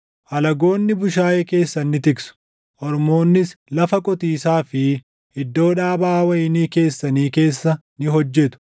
Alagoonni bushaayee keessan ni tiksu; ormoonnis lafa qotiisaa fi // iddoo dhaabaa wayinii keessanii keessa ni hojjetu.